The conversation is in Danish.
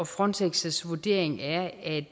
frontex vurdering er at